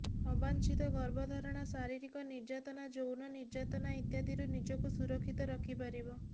ଅବାଞ୍ଛିତ ଗର୍ଭଧାରଣ ଶାରୀରିକ ନିର୍ଯାତନା ଯୌନ ନିର୍ଯାତନା ଇତ୍ୟାଦିରୁ ନିଜକୁ ସୁରକ୍ଷିତ ରଖିପାରିବ